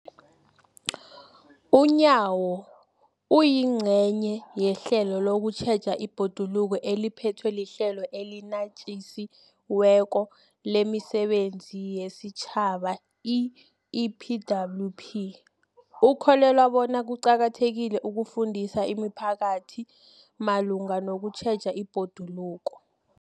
UNyawo, oyingcenye yehlelo lokutjheja ibhoduluko eliphethwe liHlelo eliNatjisi weko lemiSebenzi yesiTjhaba, i-EPWP, ukholelwa bona kuqakathekile ukufundisa imiphakathi malungana nokutjheja ibhoduluko.